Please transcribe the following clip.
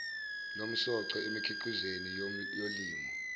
lomsoco emikhiqizweni yolimo